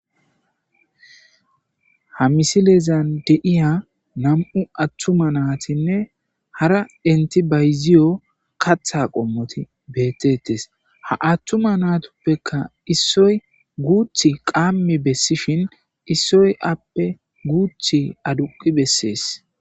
Ha misilezan deiya nam,u attuma naatinne hara entibayziyo katha qommoti beettettes ha attuma naatuppekka issoy guuth qammi bessishin issoy appe guuth aduqi bessees.